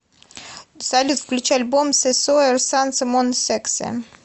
салют включи альбом се соир санс мон сексе